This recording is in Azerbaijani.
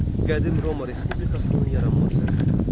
Qədim Roma Respublikasının yaranması.